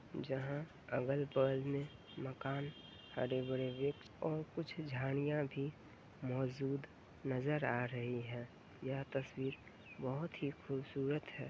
जहाँ अगल-बगल में मकान हरे भरे वृक्ष और कुछ झाड़ियाँ भी मौजूद नजर आ रही है। यह तस्वीर बहोत ही खूबसूरत है।